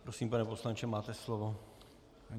Prosím, pane poslanče, máte slovo.